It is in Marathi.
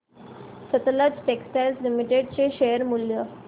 सतलज टेक्सटाइल्स लिमिटेड चे शेअर मूल्य